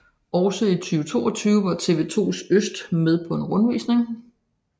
Også i 2022 var TV2 Øst med på en rundvisning